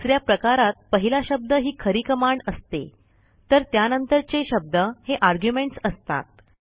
दुस या प्रकारात पहिला शब्द ही खरी कमांड असते तर त्यानंतरचे शब्द हे आर्ग्युमेंट्स असतात